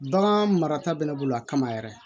Bagan marata bɛ ne bolo a kama yɛrɛ